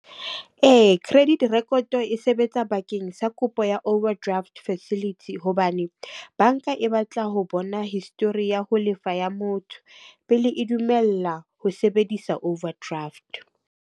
Ee, credit record e sebetsa bakeng sa kopo ya overdraft facility. Hobane banka e batla ho bona history ya ho lefa ya motho pele e dumella ho sebedisa overdraft.